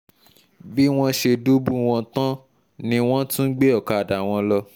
bí wọ́n ṣe dùbú wọn tán ni wọ́n tún gbé ọ̀kadà wọn lọ